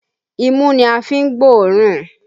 Imú ni a fi ń gbóòórùn